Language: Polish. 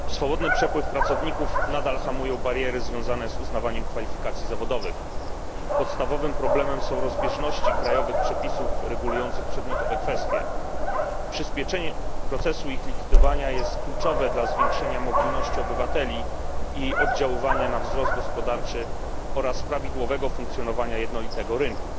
Pani Przewodnicząca! Swobodny przepływ pracowników nadal hamują bariery związane z uznawaniem kwalifikacji zawodowych. Podstawowym problemem są rozbieżności krajowych przepisów regulujących przedmiotowe kwestie. Przyspieszenie procesu ich likwidowania jest kluczowe dla zwiększenia mobilności obywateli i jej oddziaływania na wzrost gospodarczy oraz prawidłowego funkcjonowania jednolitego rynku.